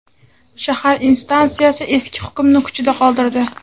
Shahar instansiyasi eski hukmni kuchida qoldirdi.